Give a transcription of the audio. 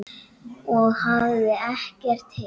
og hafði ekkert heyrt.